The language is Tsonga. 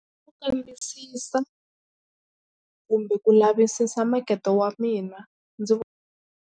I ku kambisisa kumbe ku lavisisa makete wa mina ndzi .